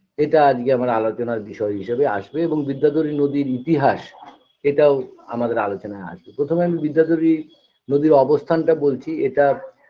এটা আজকে আমাদের আলোচনার বিষয় হিসেবে আসবে এবং বিদ্যাধরী নদীর ইতিহাস এটাও আমাদের আলোচনায় আসবে প্রথমে আমি বিদ্যাধরী নদীর অবস্থানটা বলছি এটা